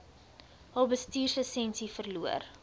hulle bestuurslisensie verloor